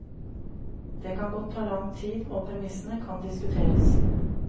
Det kan godt ta lang tid, og premissene kan diskuteres.